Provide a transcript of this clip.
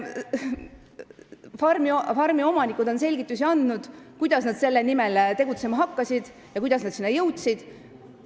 Farmi omanikud on andnud selgitusi, kuidas nad selle nimel tegutsema hakkasid ja kuidas nad selleni jõudsid.